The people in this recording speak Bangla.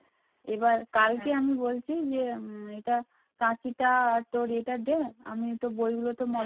কাঁচিটা তোর এটা দে আমি তো বইগুলো